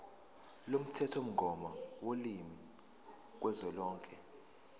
lomthethomgomo wolimi kazwelonke